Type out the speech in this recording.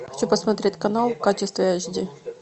хочу посмотреть канал в качестве эйч ди